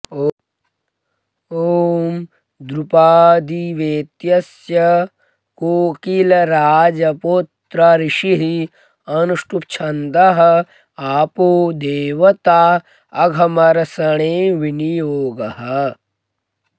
ॐ द्रुपादिवेत्यस्य कोकिलराजपुत्र ऋषिः अनुष्ठुब्छन्दः आपो देवता अघमर्षणे विनियोगः